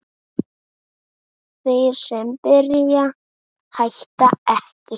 Þeir sem byrja hætta ekki!